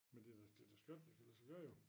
Men det da det da skønt det kan lade sig gøre jo